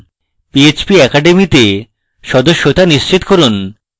php academy তে সদস্যতা নিশ্চিত করুন